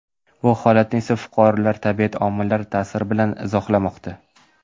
Bu holatni esa fuqarolar tabiat omillari ta’siri bilan izohlamoqda.